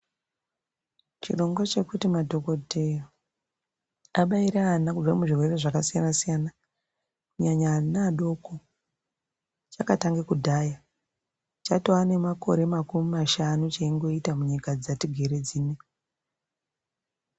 Chirongwa chekuti madhogodheya abaire ana kubva muzvirwere zvakasiyana-siyana. Kunyanya ana adoko chakatange kudhaya chatove namakore makumi mashanu cheingoita munyika dzatigere dzino.